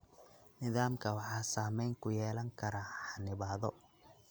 Nidaamka waxaa saameyn ku yeelan kara xannibaado.